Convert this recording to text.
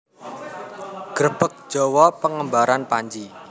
Grebeg Jawa pengembaraan Panji